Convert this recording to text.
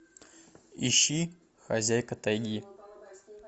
ищи хозяйка тайги